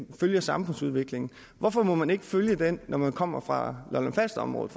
følger samfundsudviklingen hvorfor må man ikke følge den når man kommer fra lolland falster området